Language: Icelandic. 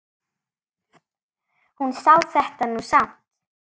Hún sá þetta nú samt.